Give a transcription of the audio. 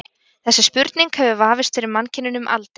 þessi spurning hefur vafist fyrir mannkyninu um aldir